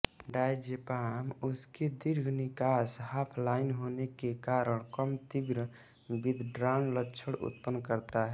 diazepam उसकी दीर्घ निकास हाफलाइफ होने के कारण कम तीव्र विदड्राल लक्षण उत्पन्न करता है